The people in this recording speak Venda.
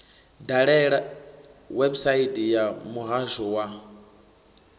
dalele website ya muhasho wa